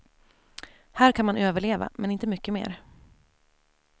Här kan man överleva, men inte mycket mer.